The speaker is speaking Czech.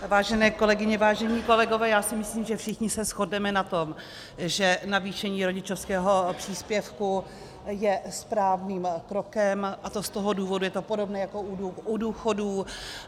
Vážené kolegyně, vážení kolegové, já si myslím, že všichni se shodneme na tom, že navýšení rodičovského příspěvku je správným krokem, a to z toho důvodu, je to podobné jako u důchodů.